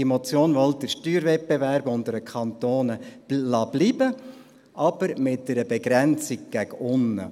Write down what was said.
Diese Motion will den Steuerwettbewerb unter den Kantonen bestehen lassen, aber mit einer Begrenzung nach unten.